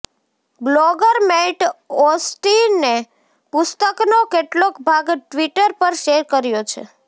blogger Matt ઑસ્ટિને પુસ્તકનો કેટલોક ભાગ ટ્વિટર પર શેર કર્યો છે